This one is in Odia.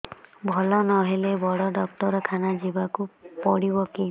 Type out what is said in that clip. ଭଲ ନହେଲେ ବଡ ଡାକ୍ତର ଖାନା ଯିବା କୁ ପଡିବକି